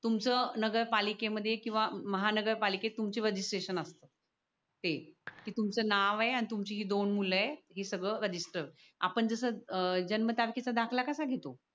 तुमचं नगरपालिकेमध्ये किंवा महानगरपालिकेत तुमचे रजिस्ट्रेशन असतात ते की तुमचं नाव आहे आणि तुमची दोन मुले ही सगळं रजिस्टर आपण जसं जन्मतारखेचा दाखला कसा घेतो